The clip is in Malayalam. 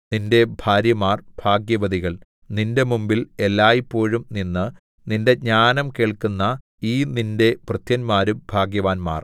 നിന്റെ ഭാര്യമാർ ഭാഗ്യവതികൾ നിന്റെ മുമ്പിൽ എല്ലായ്പോഴും നിന്ന് നിന്റെ ജ്ഞാനം കേൾക്കുന്ന ഈ നിന്റെ ഭൃത്യന്മാരും ഭാഗ്യവാന്മാർ